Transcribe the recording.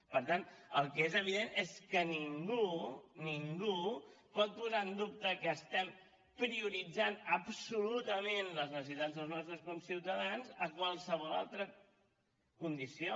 per tant el que és evidentment és que ningú ningú pot posar en dubte que estem prioritzant absolutament les necessitats dels nostres conciutadans a qualsevol altra condició